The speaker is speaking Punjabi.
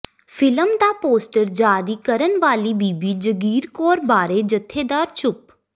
ਫ਼ਿਲਮ ਦਾ ਪੋਸਟਰ ਜਾਰੀ ਕਰਨ ਵਾਲੀ ਬੀਬੀ ਜਗੀਰ ਕੌਰ ਬਾਰੇ ਜਥੇਦਾਰ ਚੁੱਪ